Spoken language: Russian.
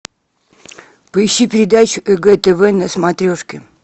поищи передачу егэ тв на смотрешке